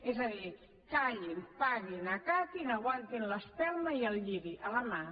és a dir callin paguin acatin aguantin l’espelma i el lliri a la mà